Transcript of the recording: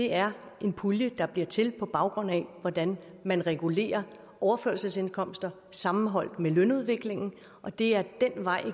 er en pulje der bliver til på baggrund af hvordan man regulerer overførselsindkomster sammenholdt med lønudviklingen og det er ad den vej